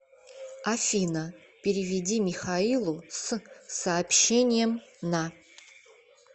афина переведи михаилу с сообщением на